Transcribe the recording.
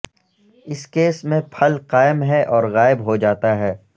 اس case میں پھل قائم ہے اور غائب ہو جاتا ہے